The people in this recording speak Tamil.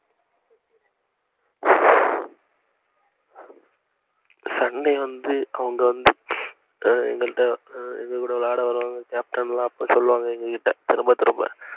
sunday வந்து அவங்க எங்கல்ட விளையாட வருவாங்க captain லா அப்ப சொல்லுவாங்க எங்ககிட்ட திரும்ப திரும்ப